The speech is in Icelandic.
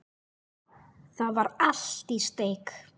Það var allt í steik.